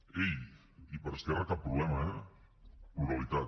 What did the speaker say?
ei i per esquerra cap problema eh pluralitat